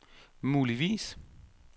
muligvis